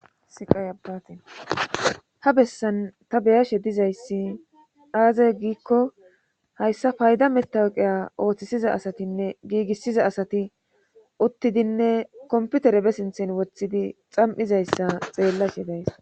siqayabaati ha bessan ta beyashe dizayssi daaze giikko hayssa payda metawuqiya ooththisiza asatinne giigissiza asati uttidinne komputere be sinthen woththidi xam7izayssa xeellashe days